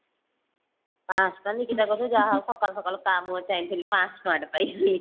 ପାଞ୍ଚଶହ ଟଙ୍କା ନିକିତା ପାଖକୁ ଯା ହଉ ସକାଳୁ ସକାଳୁ କାହା ମୁହଁ ଚାହିଁଥିଲି ପାଞ୍ଚଶହ ଟଙ୍କା ଟେ ପାଇଲି